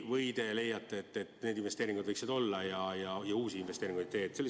Või te leiate, et need investeeringud võiksid olla, aga uusi investeeringuid ei tee?